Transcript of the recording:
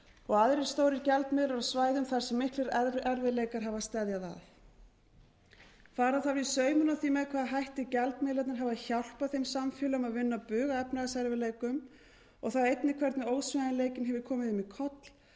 og aðrir stórir gjaldmiðlar á svæðum þar sem miklir erfiðleikar hafa steðjað að fara þarf í saumana á því með hvaða hætti gjaldmiðlarnir hafa hjálpað þeim samfélögum að vinna bug á efnahagserfiðleikum og þá einnig hvernig ósveigjanleikinn hefur komið þeim í koll